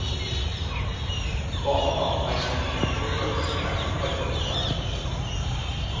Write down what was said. Barna er symbol på følelsene i parforholdet. punktum